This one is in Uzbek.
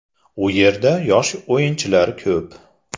U yerda yosh o‘yinchilar ko‘p.